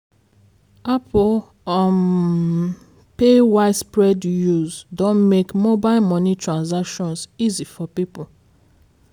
apple um pay widespread use don make mobile money transactions easy for people